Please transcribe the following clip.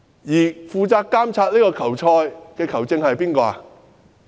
而負責監察這場球賽的球證是誰？